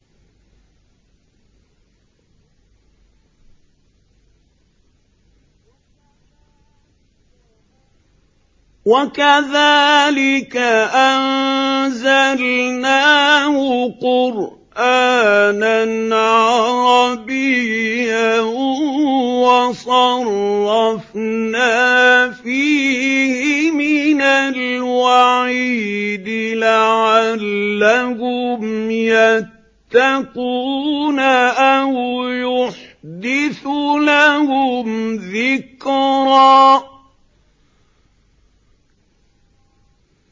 وَكَذَٰلِكَ أَنزَلْنَاهُ قُرْآنًا عَرَبِيًّا وَصَرَّفْنَا فِيهِ مِنَ الْوَعِيدِ لَعَلَّهُمْ يَتَّقُونَ أَوْ يُحْدِثُ لَهُمْ ذِكْرًا